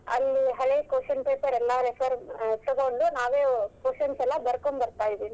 ಅಲ್ಲಿ ಹಳೆ question paper ಎಲ್ಲಾ refer ತಗೊಂಡು ನಾವೇ questions ಎಲ್ಲಾ ಬರ್ಕೊಂಡ್ ಬರ್ತಾ ಇದೀವಿ.